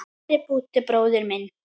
Kæri Búddi bróðir minn.